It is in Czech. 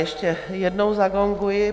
Ještě jednou zagonguji.